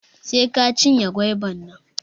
Sai ka cinye goiba nan